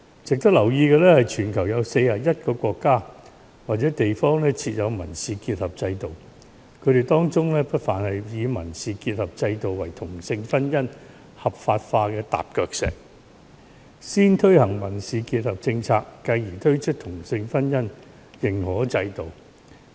值得留意的是，全球有41個國家或地方設有民事結合制度，他們當中不乏以民事結合制度作為同性婚姻合法化的踏腳石：先推行民事結合制度，繼而推出同性婚姻認可制度。